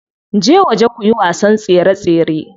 Je waje kuyi wasan tsere tsere.